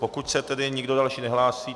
Pokud se tedy nikdo další nehlásí...